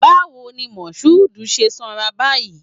Bawo ni Mashood ṣe sanra báyìí?